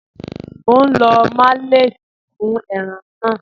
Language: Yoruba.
Mọ̀ n lọ malẹ̀tí fún ẹ̀ràn náà.